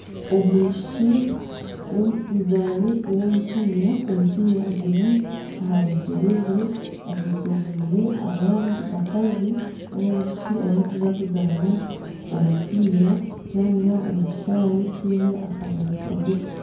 Omwishiki w'omuzaani w'omupiira. Omupiira guri aha bigyere bye, ayetoreirwe abandi bakazi nari abishiki abakuza kuzaana omupiira. Nibazanira omu kishaayi kiine akanyaatsi kagufu